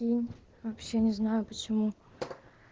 вообще не знаю почему